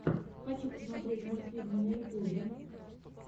хочу посмотреть мультфильмы на ютьюбе